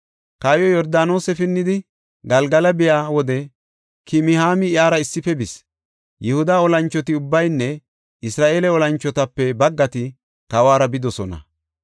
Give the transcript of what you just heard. Kawoy Yordaanose pinnidi Galgala biya wode Kimihaami iyara issife bis. Yihuda olanchoti ubbaynne Isra7eele olanchotape baggati kawuwara bidosona.